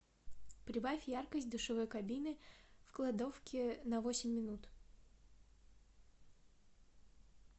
прибавь яркость душевой кабины в кладовке на восемь минут